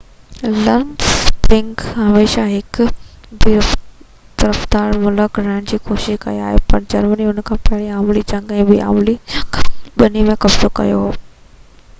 Luxembourg هميشہ هڪ بي طرفدار ملڪ رهڻ جي ڪوشش ڪئي آهي پر جرمني ان کي پهرين عالمي جنگ ۽ ٻي عالمي جنگ ٻني ۾ قبضو ڪيو هو